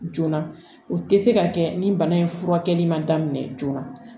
Joona o tɛ se ka kɛ ni bana in furakɛli man daminɛ joona